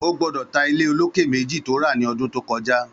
Ó gbọdọ tà ilé ólóké méji tó rà ni ọdún tókọjá